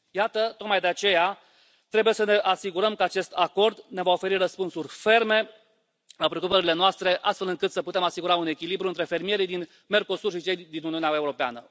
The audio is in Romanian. Iată, tocmai de aceea trebuie să ne asigurăm că acest acord ne va oferi răspunsuri ferme la preocupările noastre, astfel încât să putem asigura un echilibru între fermierii din Mercosur și cei din Uniunea Europeană.